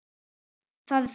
Það er þung byrði.